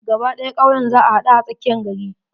Gaba ɗaya kauyen za a haɗu a tsakiyar gari.